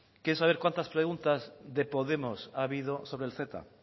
quiere saber cuántas preguntas de podemos ha habido sobre el ceta